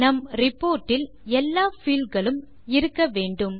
நம் ரிப்போர்ட் இல் எல்லா fieldகளும் இருக்க வேண்டும்